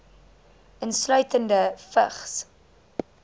insluitende vigs